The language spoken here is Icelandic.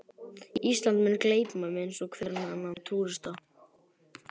Ísland mun gleypa mig eins og hvern annan túrista.